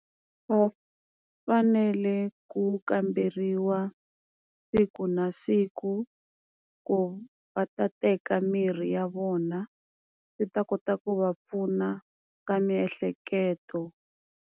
Va fanele ku kamberiwa siku na siku ku va ta teka mirhi ya vona, yi ta kota ku va pfuna ka miehleketo.